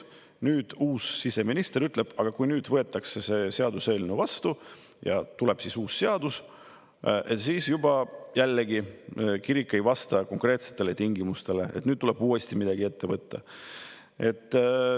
Nüüd uus siseminister ütleb, aga kui see seaduseelnõu vastu võetakse ja tuleb uus seadus, siis jällegi kirik ei vasta konkreetsetele tingimustele ja tuleb uuesti midagi ette võtta.